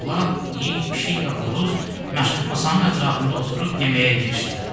Ulaq, it, pişik və xoruz masanın ətrafında oturub yeməyə girişdilər.